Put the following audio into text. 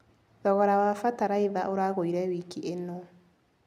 Thogora wa bataraitha ũragũire wiki ĩno.